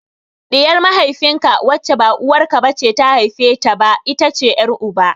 Ɗiyar mahaifin ka wacce ba uwar ka ce ta haife ta ba, ita ce ƴar uba.